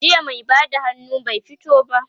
jiya mai Bada hannu bai fito ba